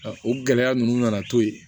O gɛlɛya ninnu nana to yen